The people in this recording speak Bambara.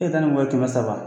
E taa ni ni mɔgɔ ye kɛmɛ saba